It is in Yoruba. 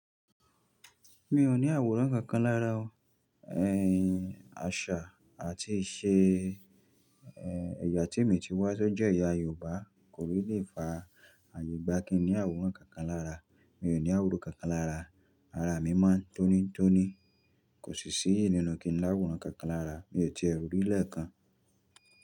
Mi ò ní àwòrán kankan lára o. Àṣà àti ìṣe ẹ̀yà tí mo ti wá sójé ẹ̀yà Yorùbá kò rí lè fa àyegbà kí n ní àwòrán kankan lára. Mi ò ní àwòrán kankan lára, ara mi mò ń tónítóní. Kò sí síyẹ̀ nínu kí n láwòrán kankan lára, mi ò tié rí lẹ́ẹ̀kan.